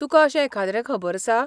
तुकां अशें एखाद्रें खबर आसा?